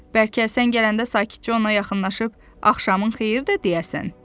Bəlkə sən gələndə sakitcə ona yaxınlaşıb axşamın xeyir də deyərsən?